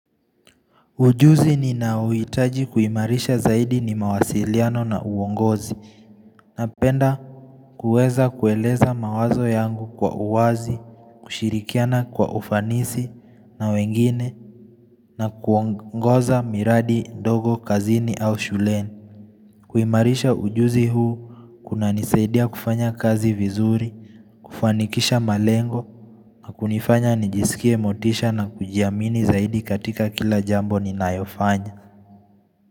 Ujuzi ninauhitaji kuimarisha zaidi ni mawasiliano na uongozi napenda kueza kueleza mawazo yangu kwa uwazi, kushirikiana kwa ufanisi na wengine na kuongoza miradi ndogo kazini au shuleni. Kuimarisha ujuzi huu kunanisaidia kufanya kazi vizuri, kufanikisha malengo na kunifanya nijisikie motisha na kujiamini zaidi katika kila jambo ni nayofanya.